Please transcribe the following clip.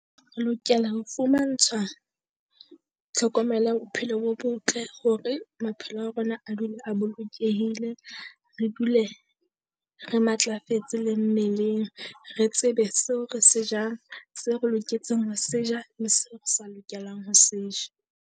Re lokela ho fumantshwa tlhokomelo bophelo bo botle hore maphelo a rona a dule a bolokehile. Re dule re matlafetse le mmeleng. Re tsebe seo re se jang tse re loketseng ho se ja le seo re sa lokelang ho se ja.